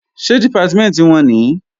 Ṣé Dìpátímẹ̀ntì wọn nìí?